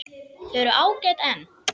Þau eru ágæt en.